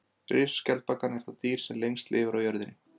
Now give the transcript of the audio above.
Risaskjaldbakan er það dýr sem lengst lifir á jörðinni.